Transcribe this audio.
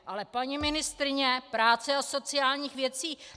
Ale paní ministryně práce a sociálních věcí...